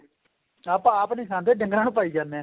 ਆਪਾਂ ਆਪ ਨਹੀਂ ਖਾਦੇ ਡੰਗਰਾਂ ਨੂੰ ਪਾਈ ਜਾਂਦੇ ਆ